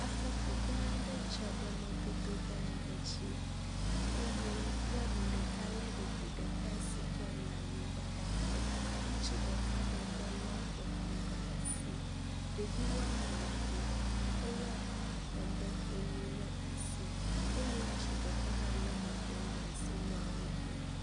afɔku gã ɖe dzɔ ɖe mɔdodo gã ɖe dzi eye nyanu ɖeka le ɖevi ɖeka sike la nyigbã la ɖakɔ ŋutsu ɖeka bɔbɔ le eklo ɖasi ɖevi woameve wóle emɔƒonu le asi eye ŋutsu ɖeka hã le mɔƒonu ɖasi nɔ woɖem